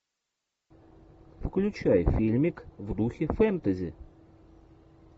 включай фильмик в духе фэнтези